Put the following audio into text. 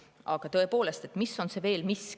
Aga tõepoolest, mis on veel see miski?